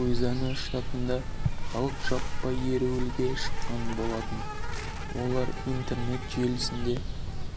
луизиана штатында халық жаппай ереуілге шыққан болатын олар интернет желісінде